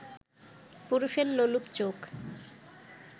পুরুষের লোলুপ চোখ